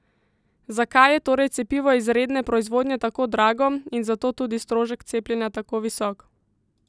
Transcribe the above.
Zakaj je torej cepivo iz redne proizvodnje tako drago in zato tudi strošek cepljenja tako visok?